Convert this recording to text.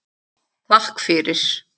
Takk fyrir